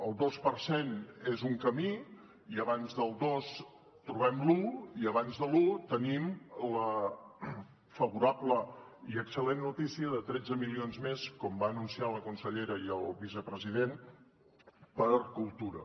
el dos per cent és un camí i abans del dos trobem l’un i abans de l’un tenim la favorable i excel·lent notícia de tretze milions més com van anunciar la consellera i el vicepresident per a cultura